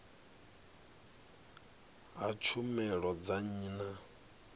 ha tshumelo dza nnyi na